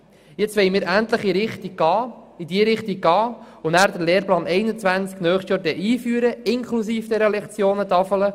Nun wollen wir endlich in diese Richtung gehen und nächstes Jahr den Lehrplan 21 einführen, inklusive der Lektionentafel.